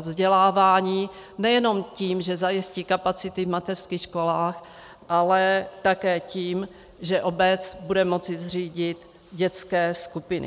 vzdělávání nejenom tím, že zajistí kapacity v mateřských školách, ale také tím, že obec bude moci zřídit dětské skupiny.